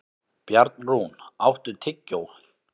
Bjarnrún, áttu tyggjó?